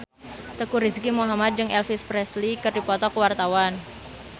Teuku Rizky Muhammad jeung Elvis Presley keur dipoto ku wartawan